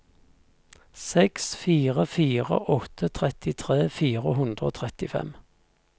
seks fire fire åtte trettitre fire hundre og trettifem